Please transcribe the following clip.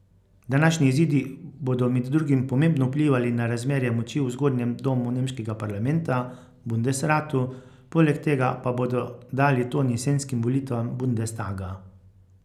Današnji izidi bodo med drugim pomembno vplivali na razmerje moči v zgornjem domu nemškega parlamenta, bundesratu, poleg tega pa bodo dali ton jesenskim volitvam bundestaga.